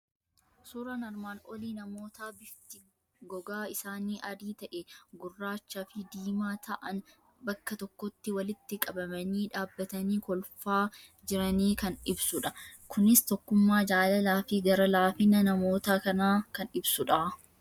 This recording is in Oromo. Suuraan armaan olii namootaa bifti gogaa isaanii adii ta'e, gurraachaa fi diimaa ta'an bakka tokkotti walitti qabamanii dhaabbatanii lolfaa jiranii kan ibsudha. Kunis tokkummaa, jaalalaa fi gara laafina namoota kanaa kan ibsudha.